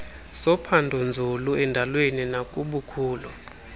sophandonzulu endalweni nakubukhulu